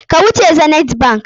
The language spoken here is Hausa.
Ka wuce Zenith bank!